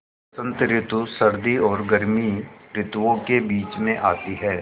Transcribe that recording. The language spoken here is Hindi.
बसंत रितु सर्दी और गर्मी रितुवो के बीच मे आती हैँ